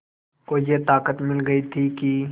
को ये ताक़त मिल गई थी कि